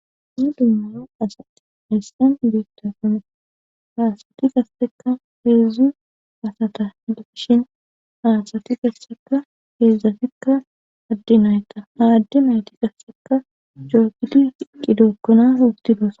dumm dumma asat haysan betosona ha kasseka heedzdzu asata heda kishin aasati kasseka heedzdzatikka addinayta aaddi mayti qasseka coogidi i qidookkona utti dosa